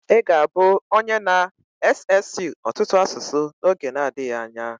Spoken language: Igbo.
Ị ga-abụ onye na-ssụ ọtụtụ asụsụ n'oge nadghi anya.